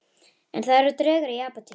En það eru draugar í Apótekinu